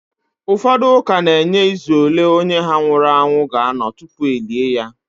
Ụfọdụ ụka na-enye izu ole onye ha nwụrụ anwụ ga-anọ tupu e lie ya